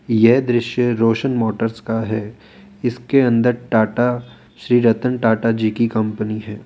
यह दृश्य रोशन मोटर्स का है इसके अंदर टाटा श्री रतन टाटा जी की कंपनी है।